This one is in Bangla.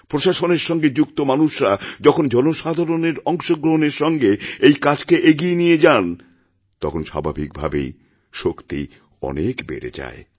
প্রশাসনের সঙ্গে যুক্ত মানুষরা যখন জনসাধারণের অংশগ্রহণের সঙ্গে এই কাজকে এগিয়ে নিয়ে যান তখন স্বাভাবিক ভাবেই শক্তি অনেক বেড়ে যায়